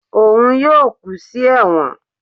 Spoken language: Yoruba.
òun yóò kú sí ẹwọ́n